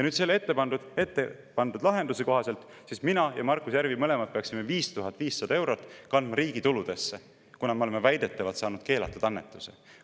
Ette pandud lahenduse kohaselt siis mina ja Markus Järvi mõlemad peaksime kandma riigi tuludesse 5500 eurot, kuna me oleme väidetavalt saanud keelatud annetuse.